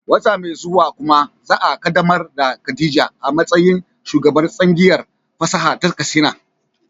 Wata mai zuwa kuma za a kaddamar da Khadija a matsayin shugabar tsangayar fasaha ta Katsina.